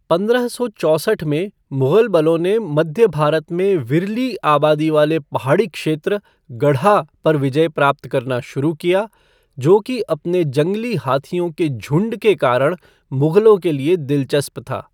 पंद्रह सौ चौसठ में मुगल बलों ने मध्य भारत में विरली आबादी वाले पहाड़ी क्षेत्र गढ़ा पर विजय प्राप्त करना शुरू किया, जो कि अपने जंगली हाथियों के झुंड के कारण मुग़लों के लिए दिलचस्प था।